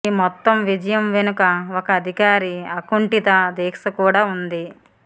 ఈ మొత్తం విజయం వెనుక ఒక అధికారి అకుంఠిత దీక్ష కూడా ఉంది